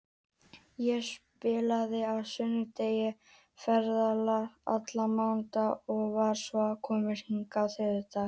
Ég spilaði á sunnudag, ferðaðist allan mánudaginn og var svo komin hingað á þriðjudaginn.